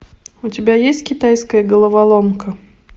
у тебя есть китайская головоломка